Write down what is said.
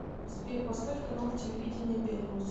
сбер поставь канал телевидения белрос